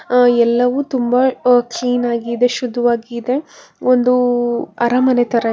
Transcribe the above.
ಆ ಎಲ್ಲವೂ ತುಂಬ ಅ ಕ್ಲೀನ್ ಆಗಿದೆ ಶುದ್ಧವಾಗಿದೆ ಒಂದೂ ಅರಮನೆ ತರ --